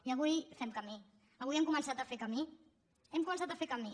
i avui fem camí avui hem començat a fer camí hem començat a fer camí